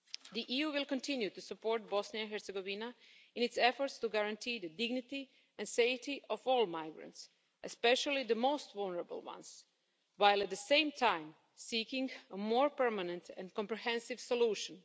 The EU will continue to support Bosnia and Herzegovina in its efforts to guarantee the dignity and safety of all migrants, especially the most vulnerable ones, while at the same time seeking a more permanent and comprehensive solution.